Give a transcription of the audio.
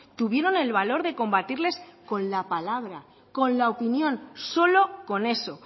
tuvieron el valor de combatirles con la palabra con la opinión solo con eso